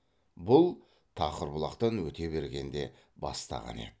бұл тақырбұлақтан өте бергенде бастағаны еді